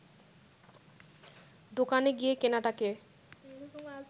দোকানে গিয়ে কেনাটাকে